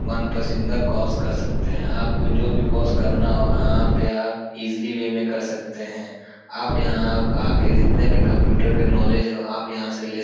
मनपसिंदा course कर सकते हैं। आपको जो भी कॉस करना हो आप आप ईजिली वे में कर सकते हैं। आप यहाँ आओ। आके जितने भी कंप्यूटर के नॉलेज हो आप यहाँ से ले स --